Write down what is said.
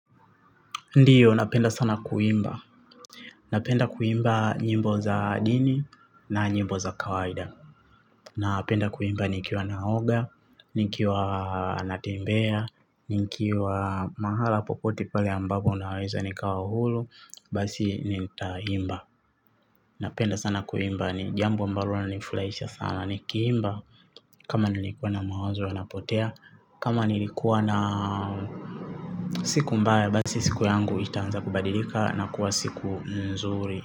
Ndiyo napenda sana kuimba. Napenda kuimba nyimbo za dini na nyimbo za kawaida. Napenda kuimba nikiwa naoga, nikiwa natembea, nikiwa mahala popote pale ambapo naweza nikawa huru. Basi nitaimba. Napenda sana kuimba ni jambo ambalo nifurahisha sana nikiimba. Kama nilikuwa na mawazo yanapotea. Kama nilikuwa na siku mbaya basi siku yangu itaanza kubadilika na kuwa siku nzuri.